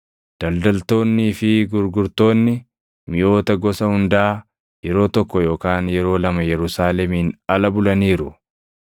Daldaltoonnii fi gurgurtoonni miʼoota gosa hundaa yeroo tokko yookaan yeroo lama Yerusaalemiin ala bulaniiru.